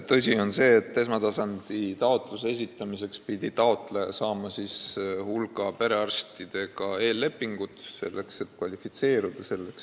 Tõsi on see, et esmatasandilt taotluse esitamiseks pidi taotleja sõlmima hulga perearstidega eellepingud, et üldse abi saamiseks kvalifitseeruda.